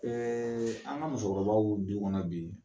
an ka musokɔrɔbaw du kɔnɔ bi.